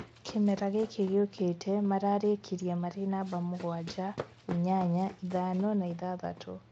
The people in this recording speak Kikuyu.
Kĩmera gĩkĩ gĩũkĩte, mararĩkĩrie marĩ namba mũgwanja, inyanya, ithano na ithathatũ